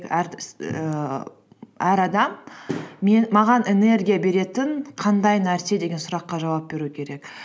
ііі әр адам маған энергия беретін қандай нәрсе деген сұраққа жауап беру керек